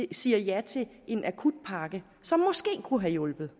siger ja til en akutpakke som måske kunne have hjulpet